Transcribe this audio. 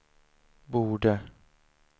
borde